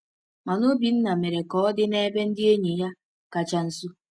Mana Obinna mere ka oke dị n’ebe ndị enyi ya kacha nso.